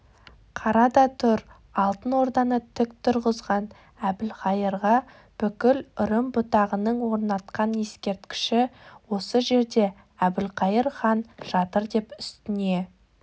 қара да тұр алтын орданы тік тұрғызған әбілқайырға бүкіл үрім-бұтағының орнатқан ескерткіші осы жерде әбілқайыр хан жатырдеп үстіне